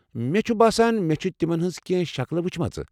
مےٚ چھُ باسان مےٚ چھِ تِمَن ہِنٛز کینٛہہ شکلہٕ وچھمٕژ۔